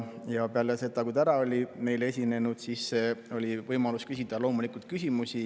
Ja peale seda, kui ta oli meile ära esinenud, oli loomulikult võimalus küsida küsimusi.